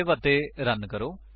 save ਅਤੇ run ਕਰੋ